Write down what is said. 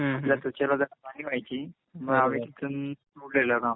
आपल्या त्वचेला जरा व्हायची